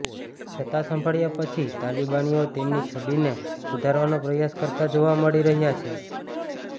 સત્તા સંભાળ્યા પછી તાલિબાનીઓ તેમની છબીને સુધારવાનો પ્રયાસ કરતા જોવા મળી રહ્યા છે